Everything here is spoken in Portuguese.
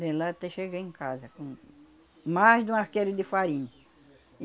De lá até chegar em casa com mais de um arqueiro de farinha.